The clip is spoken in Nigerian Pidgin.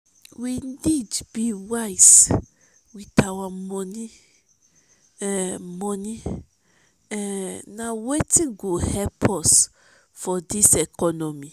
we need be wise with our money; um money; um na wetin go help us for dis economy.